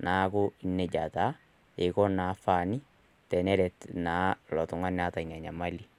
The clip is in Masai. neaku nejia iko faani teneret oltungani oota inamoyian